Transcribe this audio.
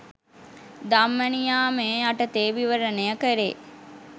ධම්ම නියාමය යටතේ විවරණය කෙරේ